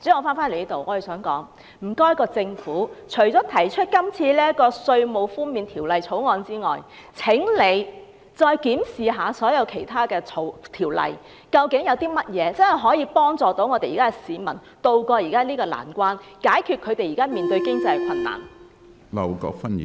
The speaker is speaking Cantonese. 我想指出，除了《條例草案》提出的稅務寬免措施外，政府應檢視其他所有條例，以研究如何可以幫助市民渡過現時的難關，解決他們現時面對的經濟困難。